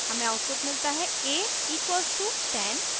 हमे आउटपुट मिलता है a = 10